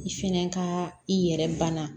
I fɛnɛ ka i yɛrɛ banna